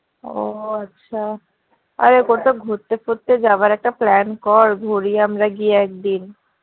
ও আছে আরে কোথাও ঘুরতে ফুরতে যাবার একটা plan কর ঘুড়ি আমরা গিয়ে একদিন